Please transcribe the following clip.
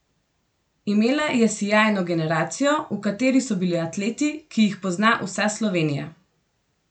Imela je sijajno generacijo, v kateri so bili atleti, ki jih pozna vsa Slovenija.